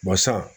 Basa